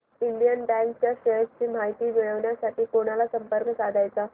Indian bank च्या shares ची माहिती मिळविण्यासाठी कोणाला संपर्क साधायचा